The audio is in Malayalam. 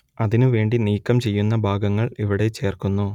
അതിനു വേണ്ടി നീക്കം ചെയ്യുന്ന ഭാഗങ്ങൾ ഇവിടെ ചേർക്കുന്നു